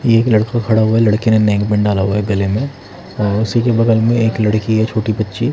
ये एक लड़का खड़ा हुआ है लड़के ने नेक -बैंड डाला हुआ है गले में और उसी के बगल में एक लड़की है छोटी बच्ची --